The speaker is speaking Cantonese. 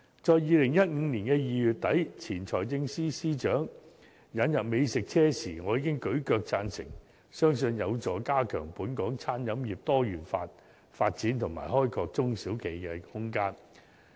在2015年2月底，當前財政司司長宣布引入美食車時，我已"舉腳"贊成，相信有助加強本港餐飲業多元化發展及開拓中小企的空間。